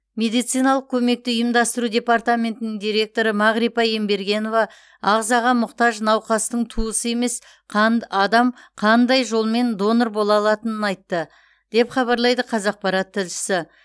медициналық көмекті ұйымдастыру департаментінің директоры мағрипа ембергенова ағзаға мұқтаж науқастың туысы емес қан адам қандай жолмен донор бола алатынын айтты деп хабарлайды қазақпарат тілшісі